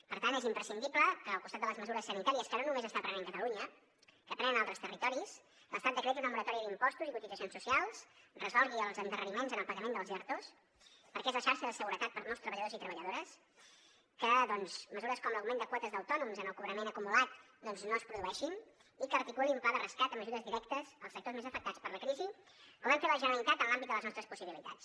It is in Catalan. per tant és imprescindible que al costat de les mesures sanitàries que no només està prenent catalunya que prenen altres territoris l’estat decreti una moratòria d’impostos i cotitzacions socials resolgui els endarreriments en el pagament dels ertos perquè és la xarxa de seguretat per molts treballadors i treballadores que mesures com l’augment de quotes d’autònoms en el cobrament acumulat doncs no es produeixin i que articulin un pla de rescat amb ajudes directes als sectors més afectats per la crisi com hem fet la generalitat en l’àmbit de les nostres possibilitats